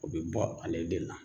O bi bɔ ale de la.